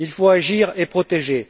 Il faut agir et protéger.